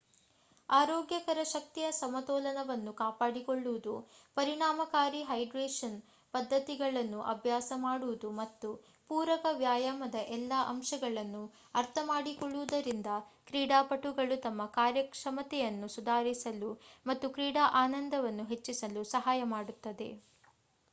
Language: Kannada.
ಆರೋಗ್ಯಕರ ಶಕ್ತಿಯ ಸಮತೋಲನವನ್ನು ಕಾಪಾಡಿಕೊಳ್ಳುವುದು ಪರಿಣಾಮಕಾರಿ ಹೈಡ್ರೇಶನ್ ಪದ್ಧತಿಗಳನ್ನು ಅಭ್ಯಾಸ ಮಾಡುವುದು ಮತ್ತು ಪೂರಕ ವ್ಯಾಯಾಮದ ಎಲ್ಲಾ ಅಂಶಗಳನ್ನು ಅರ್ಥಮಾಡಿಕೊಳ್ಳುವುದರಿಂದ ಕ್ರೀಡಾಪಟುಗಳು ತಮ್ಮ ಕಾರ್ಯಕ್ಷಮತೆಯನ್ನು ಸುಧಾರಿಸಲು ಮತ್ತು ಕ್ರೀಡಾ ಆನಂದವನ್ನು ಹೆಚ್ಚಿಸಲು ಸಹಾಯ ಮಾಡುತ್ತದೆ